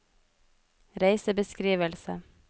reisebeskrivelse